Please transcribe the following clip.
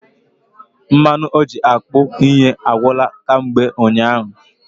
Mmanụ oji akpụ ihe agwụla kamgbe ụnyaahụ